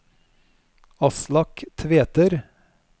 Aslak Tveter